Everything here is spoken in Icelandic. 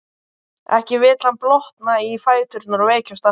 Ekki vill hann blotna í fæturna og veikjast aftur.